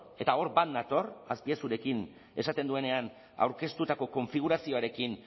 eta hor bat nator azpiazurekin esaten duenean aurkeztutako konfigurazioarekin